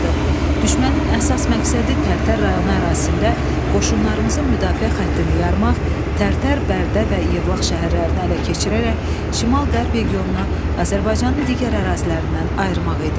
Düşmənin əsas məqsədi Tərtər rayonu ərazisində qoşunlarımızın müdafiə xəttini yarmaq, Tərtər, Bərdə və Yevlax şəhərlərini ələ keçirərək şimal-qərb regionunu Azərbaycanın digər ərazilərindən ayırmaq idi.